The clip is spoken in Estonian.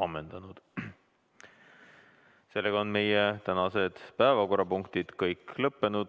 ammendanud ja ühtlasi kõik tänased päevakorrapunktid läbinud.